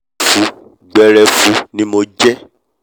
gbẹrẹfụ gbẹrẹfụ ni mo jẹ ẹ́: